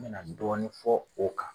Me na dɔɔnin fɔ o kan.